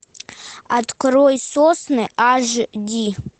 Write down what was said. открой сосны аш ди